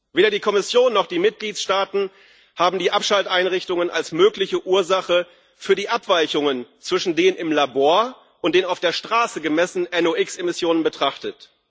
Weder die Kommission noch die Mitgliedstaaten haben die Abschalteinrichtungen als mögliche Ursache für die Abweichungen zwischen den im Labor und den auf der Straße gemessenen NOx Emissionen betrachtet.